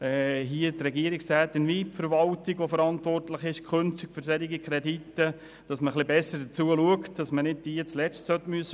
Die Regierungsrätin sowie die verantwortliche Verwaltung sollen bei solchen Krediten künftig besser darauf schauen, damit diese am Schluss nicht gestraft sind.